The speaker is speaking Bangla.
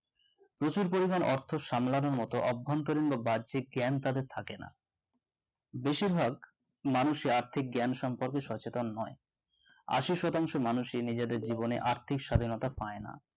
প্রচুর পরিমান অর্থ সামলানোর মতো অভ্যন্তরীন বা বার্জিক জ্ঞান তাদের থাকে না বেশিরভাগ মানুষরা আর্থিক জ্ঞান সম্পর্কে সচেতন নয় আশি শতাংশ মানুষই নিজেদের জীবনে আর্থিক স্বাধীনতা পায়না